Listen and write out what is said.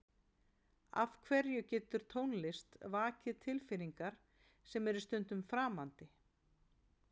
af hverju getur tónlist vakið tilfinningar sem eru stundum framandi